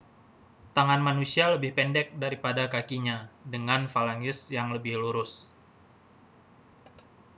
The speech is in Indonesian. tangan manusia lebih pendek daripada kakinya dengan falanges yang lebih lurus